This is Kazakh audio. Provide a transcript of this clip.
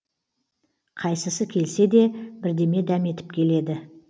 қайсысы келсе де бірдеме дәметіп келеді